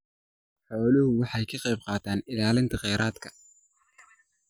Xooluhu waxay ka qaybqaataan ilaalinta kheyraadka.